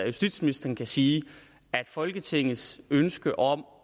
justitsministeren kan sige at folketingets ønske om